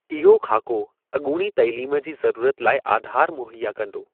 इहो ख़ाको अॻूणी तइलीम जी ज़रूरत लाइ आधारु मुहैया कंदो।